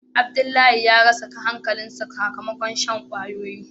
Abdullahi ya rasa hankali sa sakamakon shan kwayoyi.